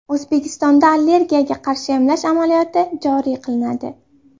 O‘zbekistonda allergiyaga qarshi emlash amaliyoti joriy qilinadi.